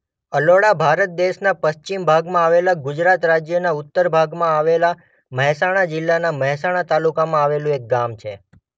અલોડા ભારત દેશના પશ્ચિમ ભાગમાં આવેલા ગુજરાત રાજ્યના ઉત્તર ભાગમાં આવેલા મહેસાણા જિલ્લાના મહેસાણા તાલુકામાં આવેલું એક ગામ છે.